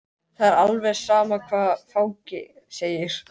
Það er alveg sama hvað fangi segir.